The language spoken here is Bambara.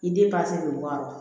I den